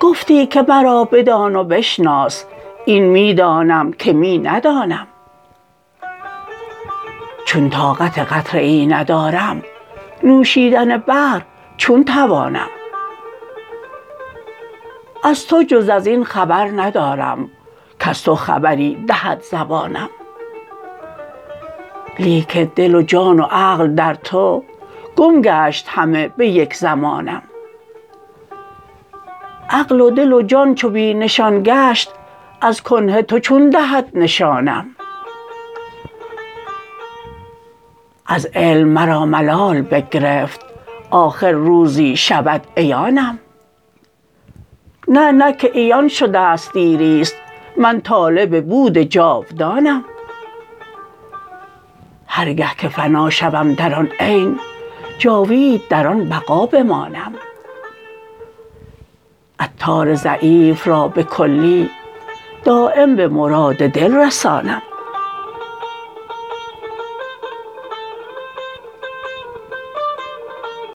گفتی که مرا بدان و بشناس این می دانم که می ندانم چون طاقت قطره ای ندارم نوشیدن بحر چون توانم از تو جز ازین خبر ندارم کز تو خبری دهد زبانم لیکن دل و جان و عقل در تو گم گشت همه به یک زمانم عقل و دل و جان چو بی نشان گشت از کنه تو چون دهد نشانم از علم مرا ملال بگرفت آخر روزی شود عیانم نه نه که عیان شدست دیری است من طالب بود جاودانم هر گه که فنا شوم در آن عین جاوید در آن بقا بمانم عطار ضعیف را به کلی دایم به مراد دل رسانم